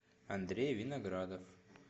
андрей виноградов